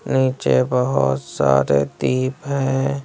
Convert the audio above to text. नीचे बहुत सारे दीप हैं।